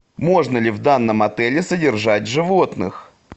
можно ли в данном отеле содержать животных